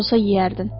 Olsan yeyərdin.